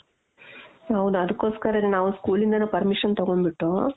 ಹೌದು ಅದುಕ್ಕೋಸ್ಕರನೇ ನಾವು school ಇಂದನು permission ತಗೊಂಬಿಟ್ಟು .